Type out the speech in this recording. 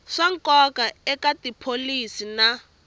swa nkoka eka tipholisi na